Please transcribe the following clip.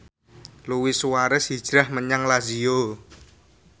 Luis Suarez hijrah menyang Lazio